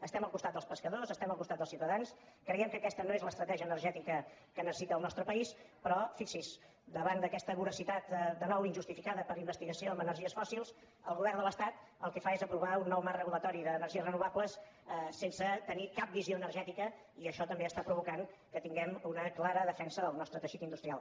estem al costat dels pescadors estem al costat dels ciutadans creiem que aquesta no és l’estratègia energètica que necessita el nostre país però fixi’s davant d’aquesta voracitat de nou injustificada per investigació en energies fòssils el govern de l’estat el que fa és aprovar un nou marc regulador d’energies renovables sense tenir cap visió energètica i això també està provocant que tinguem una clara defensa del nostre teixit industrial